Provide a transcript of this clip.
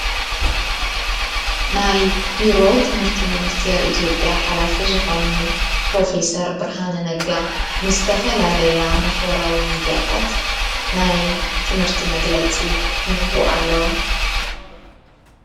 ናይ ብሮ ትምህርቲ ምንስቴር ኢቲኦጴያ ሓላፊ ዝኾኑ ጵሮፌሰር ብርሃነ ነጋ ንስተፈላለያ ማኅበራዊ ሚዲያታት ናይ ትምህርቲ መግለጺ ይህቡ ኣለው።